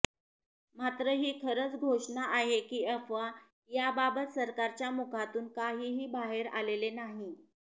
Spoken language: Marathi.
मात्र ही खरंच घोषणा आहे की अफवा याबाबत सरकारच्या मुखातून काहीही बाहेर आलेले नाही